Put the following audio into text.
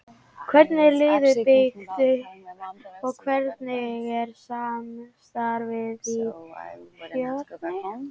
Hvernig er liðið byggt upp og hvernig er samstarfið við Fjölni?